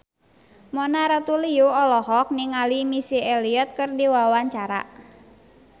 Mona Ratuliu olohok ningali Missy Elliott keur diwawancara